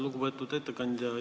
Lugupeetud ettekandja!